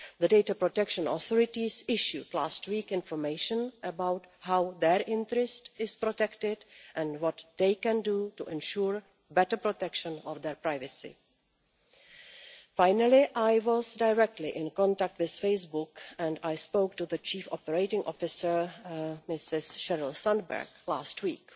The data protection authorities issued information last week about how their interest is protected and what they can do to ensure better protection of their privacy. Finally, I was directly in contact with Facebook and I spoke to the Chief Operating Officer, Ms Sheryl Sandberg last week.